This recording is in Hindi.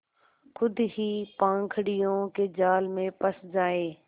खुद ही पाखंडियों के जाल में फँस जाए